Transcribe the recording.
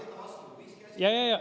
Jaa, jaa, jaa.